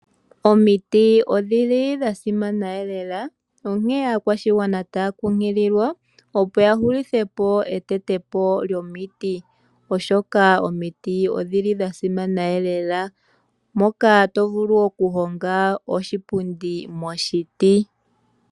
Omiti odhili dhasimana lela onkene aakwashigwana ohaya nkunkililwa opo ya hulithe po okuteta po omiti oshoka omiti odhasimana lela, moka tovulu okuhonga oshipundi moshiti.